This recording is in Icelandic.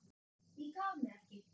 Ég gaf mig ekki!